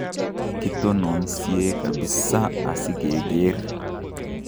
kitononsie kapisaa asikegeer